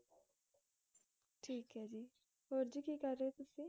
ਠੀਕ ਏ ਜੀ ਹੋਰ ਜੀ ਕੀ ਕਰ ਰੇ ਓ ਤੁਸੀਂ?